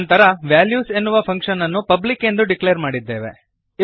ನಂತರ ವಾಲ್ಯೂಸ್ ಎನ್ನುವ ಫಂಕ್ಶನ್ ಅನ್ನು ಪಬ್ಲಿಕ್ ಎಂದು ಡಿಕ್ಲೇರ್ ಮಾಡಿದ್ದೇವೆ